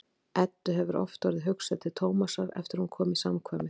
Eddu hefur oft orðið hugsað til Tómasar eftir að hún kom í samkvæmið.